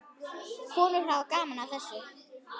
Konur hafa gaman af þessu.